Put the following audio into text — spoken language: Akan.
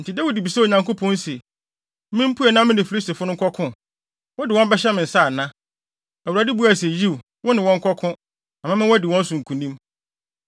Enti Dawid bisaa Onyankopɔn se, “Mimpue na me ne Filistifo no nkɔko? Wode wɔn bɛhyɛ me nsa ana?” Awurade buae se, “Yiw, wo ne wɔn nkɔko, na mɛma woadi wɔn so nkonim.”